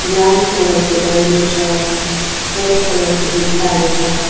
Brown colour को दैलो छ वाइट कलर को भित्ताहरु छ।